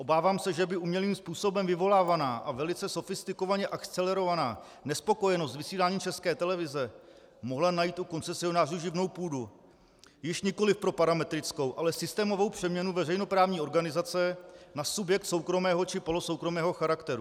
Obávám se, že by umělým způsobem vyvolávaná a velice sofistikovaně akcelerovaná nespokojenost s vysíláním České televize mohla najít u koncesionářů živnou půdu již nikoliv pro parametrickou, ale systémovou přeměnu veřejnoprávní organizace na subjekt soukromého či polosoukromého charakteru.